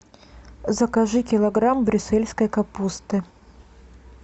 закажи килограмм брюссельской капусты